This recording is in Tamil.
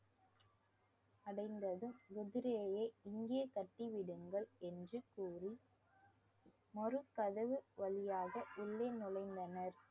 அடைந்ததும் குதிரையை இங்கே கட்டி விடுங்கள் என்று கூறி மறுகதவு வழியாக உள்ளே நுழைந்தனர்